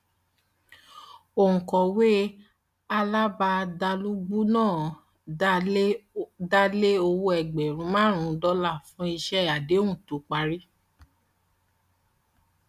òǹkọwé alábàádàlúgbùú náà dá lé owó ẹgbẹrún márùnún dọlà fún iṣẹ àdéhùn tó parí